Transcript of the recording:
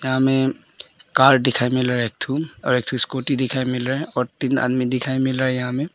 या में कार दिखाई मिल रहा है एक ठो और एक ठो स्कूटी दिखाई मिल रहा है और यहां तीन आदमी दिखाई मिल रहा है यहां में।